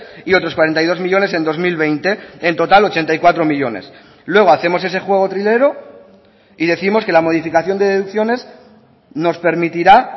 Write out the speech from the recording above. y otros cuarenta y dos millónes en dos mil veinte en total ochenta y cuatro millónes luego hacemos ese juego trilero y décimos que la modificación de deducciones nos permitirá